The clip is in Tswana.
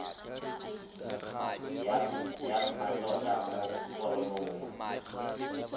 ya mmatota mo foromong nngwe